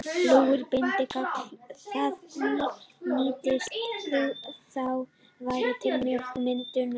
Flúor bindur kalk, það nýtist þá verr til mjólkurmyndunar.